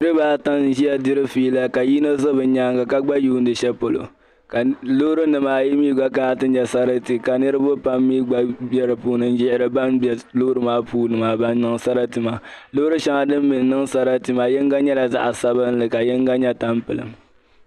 Niriba ata n-zaya diri fiila ka yino Ʒe bɛ nyaaŋa ka gba yuuni shɛli polo ka loorinima ayi mii gba kana ti nyɛ sarati ka niriba pam mii gba bɛ di puuni n yihiri ban bɛ loori maa puuni maa ban niŋ sarati maa loori shɛŋa din mii niŋ sarati maa yiŋga nyɛla zaɣ'sabinli ka yiŋga nyɛ tampilim